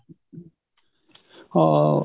ਹਾਂ